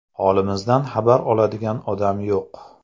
Holimizdan xabar oladigan odam yo‘q.